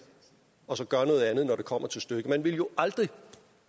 og så gør noget andet når det kommer til stykket man ville jo aldrig